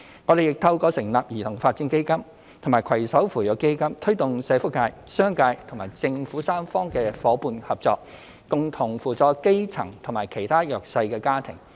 我們亦透過成立兒童發展基金和攜手扶弱基金，推動社福界、商界和政府三方的夥伴合作，共同扶助基層及其他弱勢家庭。